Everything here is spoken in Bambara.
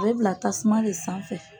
A bɛ bila tasuma de sanfɛ